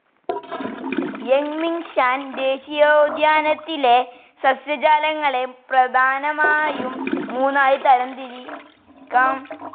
Yangmingshan ദേശീയോദ്യാനത്തിലെ സസ്യജാലങ്ങളെ പ്രധാനമായും മൂന്നായി തരം തിരിയ്ക്കാം.